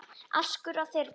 askur af þyrni